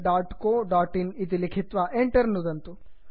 googlecoइन् इति लिखित्वा enter नुदन्तु